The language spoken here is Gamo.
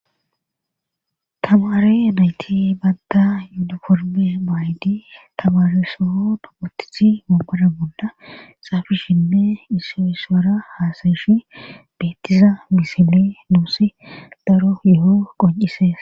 Tamare nayti badda yuuda korme maaydi tamaresoo dopotithi mookoda golda xaafishinne issoo iswara haasayishi beettiza misile nuusi daro yeho qoncises